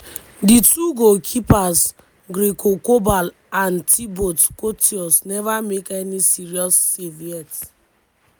di two goalkeepers gregor kobel and thibaut courtois neva make any serious save yet.